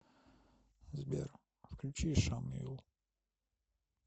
сбер включи шамиль